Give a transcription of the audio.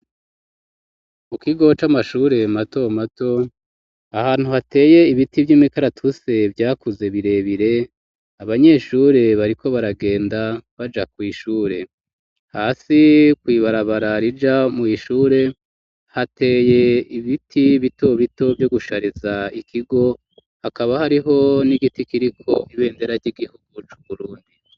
Mu kigo c'amashure mato mato ,ahantu hateye ibiti vy'imikaratuse vyakuze birebire, abanyeshure bari ko baragenda baja kw' ishure, hasi kw'ibarabara rija mw'ishure hateye ibiti bito bito ,vyo gushariza ikigo, hakaba hariho n'igiti kiriko ibendera ry'igihugucu burundi.